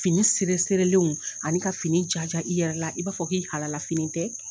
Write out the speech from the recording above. Fini ani ka fini jaja i yɛrɛ la, i b'a fɔ k'i halala fini tɛ